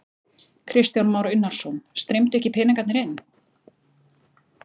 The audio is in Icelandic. Kristján Már Unnarsson: Streymdu ekki peningarnir inn?